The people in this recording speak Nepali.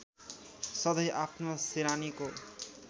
सधैँ आफ्नो सिरानीको